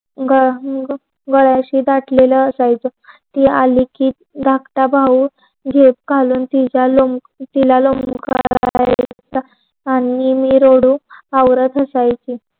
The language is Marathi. ग गळ्याची दाटलेल असायच. ती आली कि धाकटा भाऊ झेप घालून तिला लोम लोमकाळाच आणि मी रडू आवरत बसायचे.